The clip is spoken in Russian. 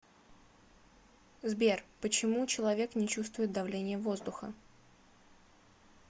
сбер почему человек не чувствует давления воздуха